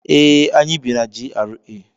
ee, anyi bi na GRA